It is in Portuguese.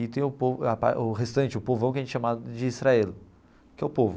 E tem o povo o restante, o povão, que a gente chama de israel, que é o povo.